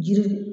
Jiri